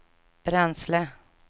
bränsle